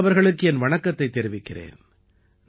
நான் அவர்களுக்கு என் வணக்கத்தைத் தெரிவிக்கிறேன்